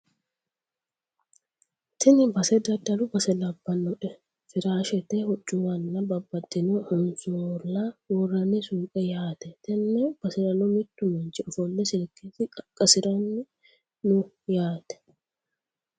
Tini base daddalu base labbanoe firaashete hoccuwanna babbaxitino hansoolla worrani suuqe yaate tenne baserano mittu manchi ofolle silkesi qaqqasirayi noo yaate